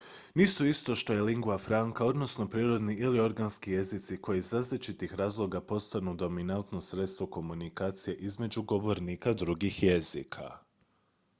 nisu isto što i lingua franca odnosno prirodni ili organski jezici koji iz različitih razloga postanu dominatno sredstvo komunikacije između govornika drugih jezika